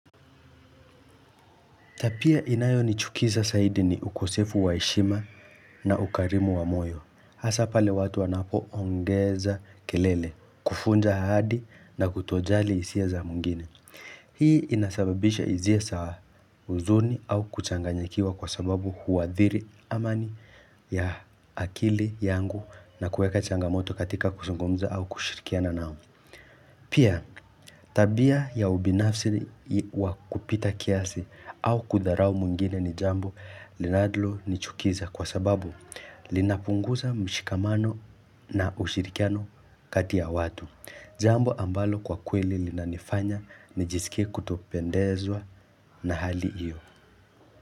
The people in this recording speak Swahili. Tabia inayo nichukiza zaidi ni ukosefu wa heshima na ukarimu wa moyo. Hasapale watu wanapo ongeza kelele, kuvunja ahadi na kutojali hisia za mwingine. Hii inasababisha hisia za huzuni au kuchanganyakiwa kwa sababu huwathiri amani ya akili yangu na kueka changamoto katika kuzungmza au kushirikiana nao. Pia, tabia ya ubinafsi wa kupita kiasi au kudharau mwingine ni jambo linalo nichukiza kwa sababu linapunguza mshikamano na ushirikiano kati ya watu. Jambo ambalo kwa kweli linanifanya nijisikie kutopendezwa na hali hiyo.